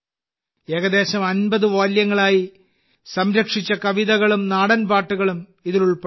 ഏകദേശം 50 വാല്യങ്ങളായി സംരക്ഷിച്ച കവിതകളും നാടൻ പാട്ടുകളും ഇതിൽ ഉൾപ്പെടുന്നു